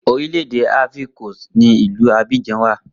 Orílẹ̀ èdè Ivory Coast ni Ilu Abidjan wà